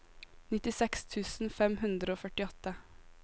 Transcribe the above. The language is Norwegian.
nittiseks tusen fem hundre og førtiåtte